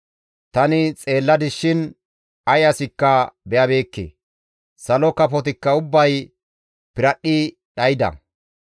Tani xeelladis shin ay asikka be7abeekke; salo kafotikka ubbay piradhdhidi dhayda.